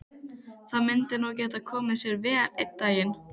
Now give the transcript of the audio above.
Það myndi nú geta komið sér vel einn daginn.